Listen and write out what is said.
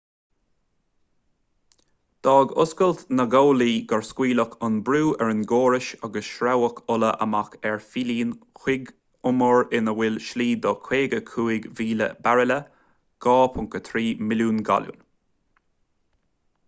d'fhág oscailt na gcomhlaí gur scaoileadh an brú ar an gcóras agus shreabhaigh ola amach ar phillín chuig umar ina bhfuil slí do 55,000 bairille 2.3 milliún galún